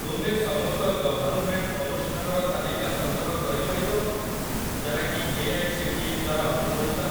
ତୁମେ ସମସ୍ତ ଗଭର୍ଣ୍ଣମେଣ୍ଟ ଅନୁଷ୍ଠାନର ତାଲିକା ସଂଗ୍ରହ କରିପାରିବ କି ଯାହାକି ଏଆଇସିଟିଇ ଦ୍ୱାରା ଅନୁମୋଦିତ?